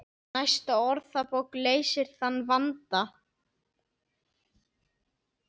Næsta orðabók leysir þann vanda.